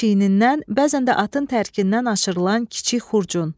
Çiyindən, bəzən də atın tərkindən aşırılan kiçik xurcun.